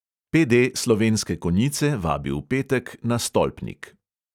PD slovenske konjice vabi v petek na stolpnik.